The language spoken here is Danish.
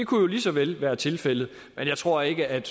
kunne jo lige så vel være tilfældet men jeg tror ikke at